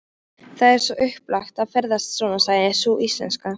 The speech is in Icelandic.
Það er svo upplagt að ferðast svona, sagði sú íslenska.